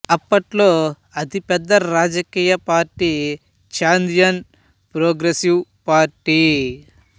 అప్పట్లో అతి పెద్ద రాజకీయ పార్టీ చాదియన్ ప్రోగ్రెసివ్ పార్టీ